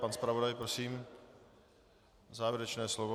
Pan zpravodaj, prosím, závěrečné slovo.